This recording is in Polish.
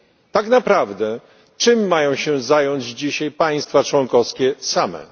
Tak naprawdę, czym mają się zająć dzisiaj państwa członkowskie same?